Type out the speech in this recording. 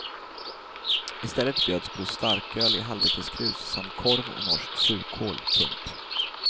I stället bjöds på starköl i halvliterskrus samt korv och norsk surkål. punkt